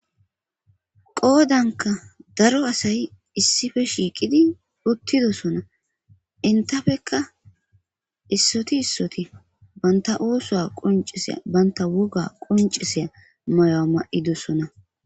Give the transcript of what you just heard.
qoodanka daro asayi issife shiiqidi uttidosona intafeka issoti issoti banta oosuwa qunciseya banta woga qunciseya mayo ma'idosona